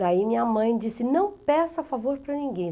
Daí minha mãe disse, não peça favor para ninguém.